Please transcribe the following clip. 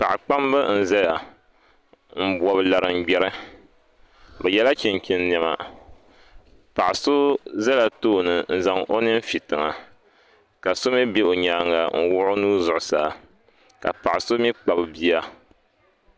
Paɣa kpambi n ʒɛya n bobi laringbɛri bi yɛla chinchin niɛma paɣa so bɛla tooni n zaŋ o nin fi tiŋa ka so mii bɛ o nyaanga n wuhi o nuu zuɣusaa ka paɣa so mii kpabi bia